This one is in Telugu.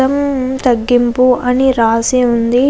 అల్లం తగ్గింపు అని రాసి ఉంది.